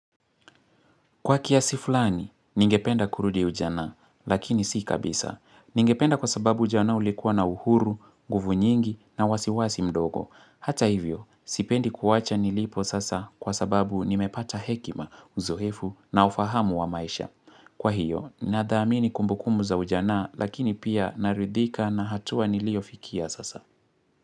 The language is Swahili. Kwa kiasi fulani, ningependa kurudi ujana, lakini si kabisa. Ningependa kwa sababu ujana ulikuwa na uhuru, guvu nyingi na wasiwasi mdogo. Hata hivyo, sipendi kuwacha nilipo sasa kwa sababu nimepata hekima, uzoefu na ufahamu wa maisha. Kwa hiyo, nadhaamini kumbukumu za ujana, lakini pia naridhika na hatua niliyofikia sasa.